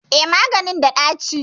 Eh, maganin da ɗaci